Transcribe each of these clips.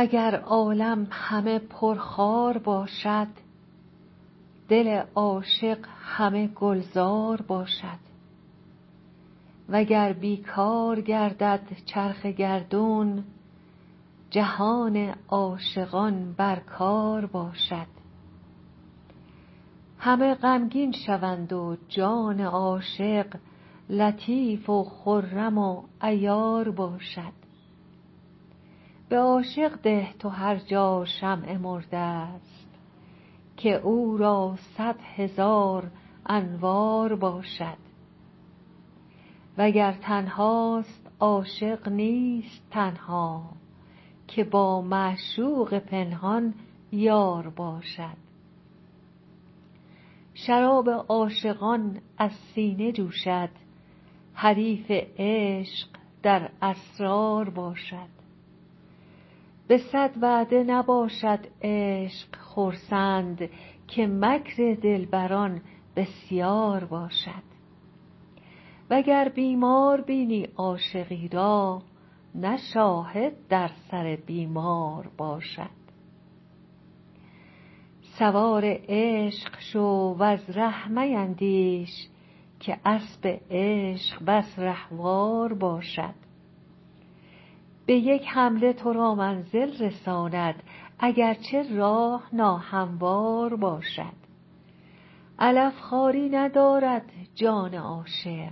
اگر عالم همه پرخار باشد دل عاشق همه گلزار باشد وگر بی کار گردد چرخ گردون جهان عاشقان بر کار باشد همه غمگین شوند و جان عاشق لطیف و خرم و عیار باشد به عاشق ده تو هر جا شمع مرده ست که او را صد هزار انوار باشد وگر تنهاست عاشق نیست تنها که با معشوق پنهان یار باشد شراب عاشقان از سینه جوشد حریف عشق در اسرار باشد به صد وعده نباشد عشق خرسند که مکر دلبران بسیار باشد وگر بیمار بینی عاشقی را نه شاهد بر سر بیمار باشد سوار عشق شو وز ره میندیش که اسب عشق بس رهوار باشد به یک حمله تو را منزل رساند اگر چه راه ناهموار باشد علف خواری نداند جان عاشق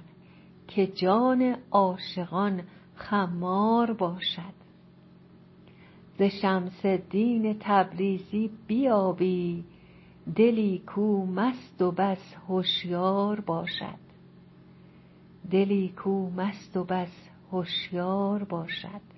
که جان عاشقان خمار باشد ز شمس الدین تبریزی بیابی دلی کو مست و بس هشیار باشد